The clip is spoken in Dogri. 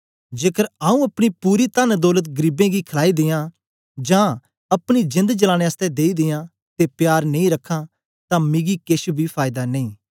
जेकर आऊँ अपनी पूरी तन्न दौलत गरीबें गी खलाई दियां जां अपनी जेंद जलाने आसतै देई दियां ते प्यार नेई रखां तां मिकी केछ बी फायदा नेई